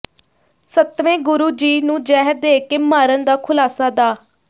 ਸੱਤਵੇਂ ਗੁਰੂ ਜੀ ਨੂੰ ਜ਼ਹਿਰ ਦੇ ਕੇ ਮਾਰਨ ਦਾ ਖੁਲਾਸਾ ਡਾ